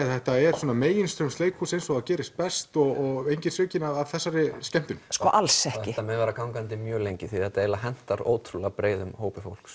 að þetta er svona meginstraums leikhús eins og það gerist best og enginn svikinn af þessari skemmtun alls ekki þetta mun vera gangandi mjög lengi því þetta hentar ótrúlega breiðum hópi fólks